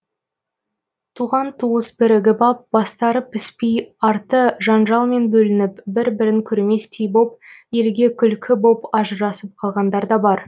туған туыс бірігіп ап бастары піспей арты жанжалмен бөлініп бір бірін көрместей боп елге күлкі боп ажырасып қалғандар да бар